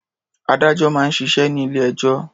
Adájọ́ máa ń ṣiṣẹ́ ní ilé-ẹjọ́.